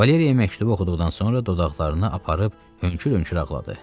Valeriya məktubu oxuduqdan sonra dodaqlarını aparıb hönkür-hönkür ağladı.